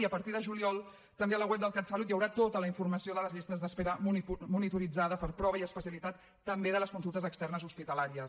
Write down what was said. i a partir de juliol també al web del catsalut hi haurà tota la informació de les llistes d’espera monitorada per prova i especialitat també de les consultes externes hospitalàries